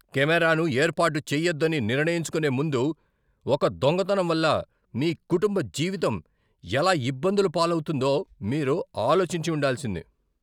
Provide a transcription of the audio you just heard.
కెమెరాను ఏర్పాటు చేయొద్దని నిర్ణయించుకునే ముందు ఒక దొంగతనం వల్ల మీ కుటుంబ జీవితం ఎలా ఇబ్బందుల పాలవుతుందో మీరు ఆలోచించి ఉండాల్సింది.